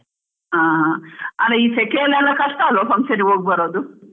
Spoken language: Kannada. ಹ ಹ ಅಲ ಈ ಸೆಕೆಯಲ್ಲಿ ಎಲ್ಲ ಕಷ್ಟ ಅಲ್ವಾ function ಹೋಗ್ ಬರೋದು.